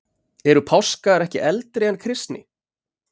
Eru páskar ekki eldri en kristni?